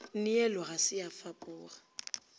neelo ga se ya fapoga